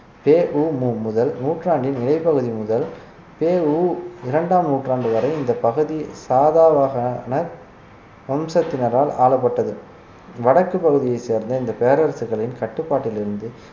பெ உ மு முதல் நூற்றாண்டின் மேற்பகுதி முதல் பெ உ மு இரண்டாம் நூற்றாண்டு வரை இந்தப் பகுதி சாதா வகையான வம்சத்தினரால் ஆளப்பட்டது வடக்குப் பகுதியைச் சேர்ந்த இந்த பேரரசுகளின் கட்டுப்பாட்டிலிருந்து